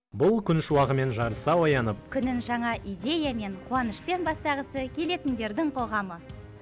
бұл күн шуағымен жарыса оянып күнін жаңа идеямен қуанышпен бастағысы келетіндердің қоғамы